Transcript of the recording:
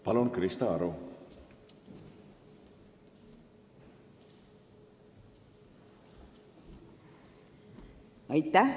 Palun, Krista Aru!